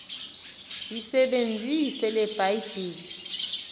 yisebenzise le bhayibhile